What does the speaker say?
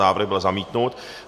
Návrh byl zamítnut.